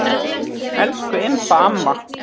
Elsku Imba amma.